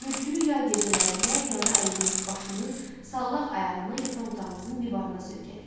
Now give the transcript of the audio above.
Bürkülü yay gecələrində yana əyilmiş başını, sallaq ayağını yataq otağımızın divarına söykədi.